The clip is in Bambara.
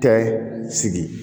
Tɛ sigi